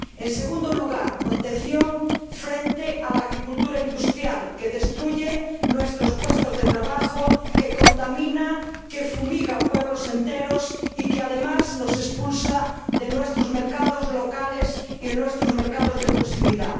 En segundo lugar protección frente a la agricultura industrial que destruye nuestros puestos de trabajo, que contamina, que fumiga pueblos enteros y que, además, nos expulsa de nuestros mercados locales y de nuestros mercados de proximidad.